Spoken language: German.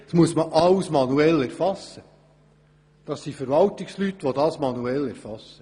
Alles muss von Verwaltungsleuten manuell erfasst werden.